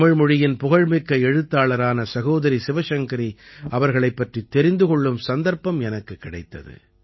தமிழ்மொழியின் புகழ்மிக்க எழுத்தாளரான சகோதரி சிவசங்கரி அவர்களைப் பற்றித் தெரிந்து கொள்ளும் சந்தர்ப்பம் எனக்குக் கிடைத்தது